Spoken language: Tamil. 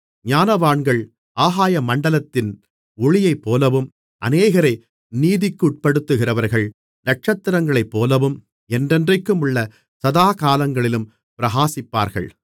ஞானவான்கள் ஆகாயமண்டலத்தின் ஒளியைப்போலவும் அநேகரை நீதிக்குட்படுத்துகிறவர்கள் நட்சத்திரங்களைப்போலவும் என்றென்றைக்குமுள்ள சதாகாலங்களிலும் பிரகாசிப்பார்கள்